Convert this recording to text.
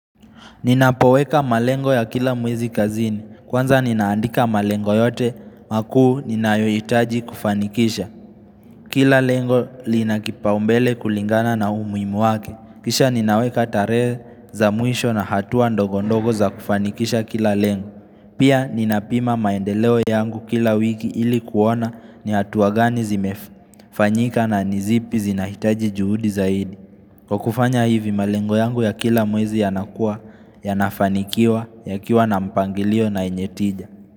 Ninapoweka malengo ya kila mwezi kazini. Kwanza ninaandika malengo yote makuu ninayoitaji kufanikisha. Kila lengo linakipa umbele kulingana na umuimu wake. Kisha ninaweka tarehe za mwisho na hatuwa ndogondogo za kufanikisha kila lengo. Pia ninapima maendeleo yangu kila wiki ili kuona ni hatuwa gani zimefu. Fanyika na nizipi zinahitaji juhudi zaidi. Kwa kufanya hivi malengo yangu ya kila mwezi yanakua, yanafanikiwa, ya kiwa na mpangilio na enyetija.